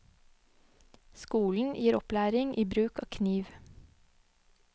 Skolen gir opplæring i bruk av kniv.